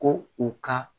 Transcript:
Ko u ka